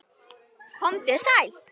Komdu sæl.